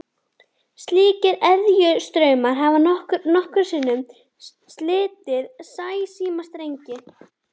Slíkir eðjustraumar hafa nokkrum sinnum slitið sæsímastrengi.